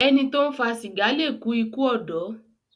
Ẹní tó ń fa sìgá lẹ kú ikú odò